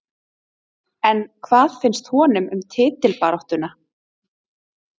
En hvað finnst honum um titilbaráttuna?